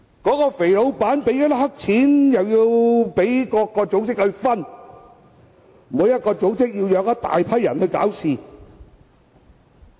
那位"肥老闆"支付黑錢予各組織，然後各組織便"養"一大批人來搞事。